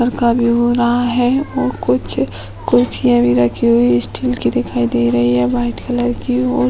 लड़का भी हो रहा है और कुछ कुर्सियां भी रखी हुई हैं स्टील की दिखाई दे रही हैं व्हाइट कलर की और --